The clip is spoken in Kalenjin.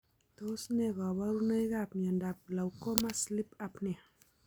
Tos ne kaborunoikab miondop glaucoma sleep apnea?